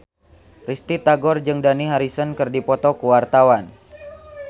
Risty Tagor jeung Dani Harrison keur dipoto ku wartawan